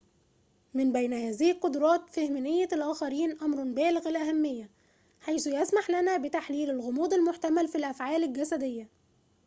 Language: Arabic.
من بين هذه القدرات فهم نية الآخرين أمرٌ بالغُ الأهمية حيث يسمح لنا بتحليل الغموض المحتمل في الأفعال الجسدية